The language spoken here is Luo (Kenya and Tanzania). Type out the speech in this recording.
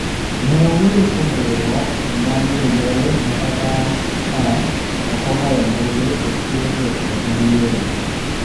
Ne owuoyo kuom riwwruok mag jonjore makata ka ok ogoyo ombulu to chiwo duoko mag yiero